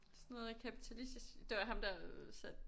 Sådan noget kapitalistisk det var ham der satte